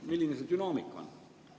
Milline see dünaamika on?